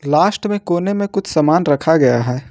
Last में कोने में कुछ सामान रखा गया है।